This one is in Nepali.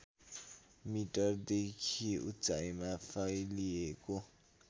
मिटरदेखि उचाइमा फैलिएको